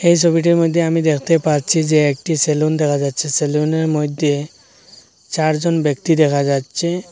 এই সোবিটির মইধ্যে আমি দেখতে পাচ্ছি যে একটি সেলুন দেখা যাচ্ছে সেলুনের মইধ্যে চারজন ব্যক্তি দেখা যাচ্ছে।